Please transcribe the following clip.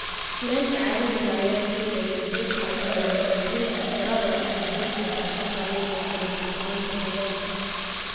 Kulaylka caalamiga ah ayaa keenaya isbeddel ku yimaada qaybinta tirada duurjoogta, taasoo saameynaysa dheelitirnaanta deegaanka.